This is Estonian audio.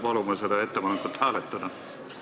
Palume seda ettepanekut hääletada!